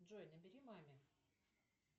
джой набери маме